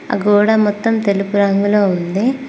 ఆ గోడ మొత్తం తెలుపు రంగులో ఉంది.